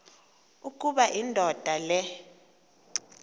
ukuba indoda le